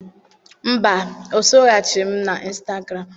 Mba, o soghachighị m na Ịnstagram.